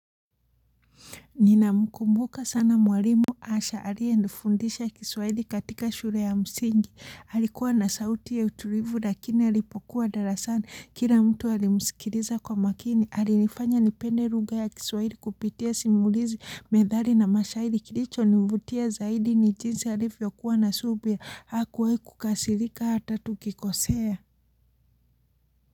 Nina mkumbuka sana mwalimu Asha aliye nifundisha kiswahili katika shule ya msingi, alikuwa na sauti ya utulivu lakini alipokuwa darasani, kila mtu alimusikiriza kwa makini, alinifanya nipende lugha ya kiswahili kupitia simulizi, methali na mashahiri kilicho nivutia zaidi ni jinsi alivyo kuwa na subira, hakuwahi kukasirika hata tukikosea.